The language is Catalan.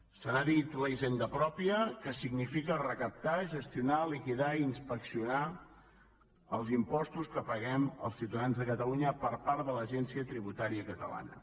se n’ha dit la hisenda pròpia que significa recaptar gestionar liquidar i inspeccionar els impostos que paguem els ciutadans de catalunya per part de l’agència tributària catalana